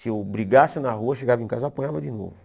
Se eu brigasse na rua, chegava em casa e apanhava de novo.